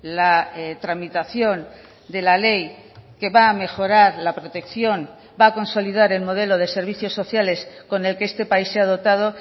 la tramitación de la ley que va a mejorar la protección va a consolidar el modelo de servicios sociales con el que este país se ha dotado